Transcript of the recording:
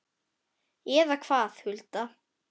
Eða hvað, Hulda?